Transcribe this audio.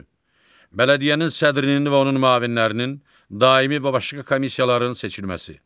Bələdiyyənin sədrinin və onun müavinlərinin, daimi və başqa komissiyaların seçilməsi.